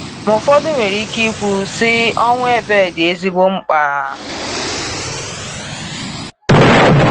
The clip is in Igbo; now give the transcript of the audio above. Ma ụfọdụ nwere ike ikwu, sị, ọnwụ Abel dị ezigbo mkpa.